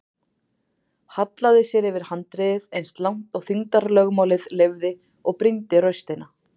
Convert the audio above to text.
Hallaði sér yfir handriðið eins langt og þyngdarlögmálið leyfði og brýndi raustina.